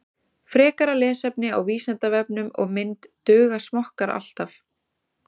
Frekara lesefni á Vísindavefnum og mynd Duga smokkar alltaf?